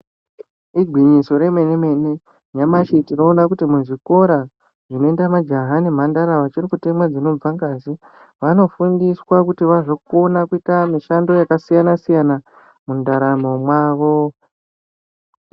Igwinyiso remene-mene. Nyamashi tinoona kuti muzvikora zvinoenda majaha nemhandara vachiri kutemwa dzinobva ngazi, vanofundiswa kuti vazokona kuita mishando yakasiyana-siyana mundaramo mwavo.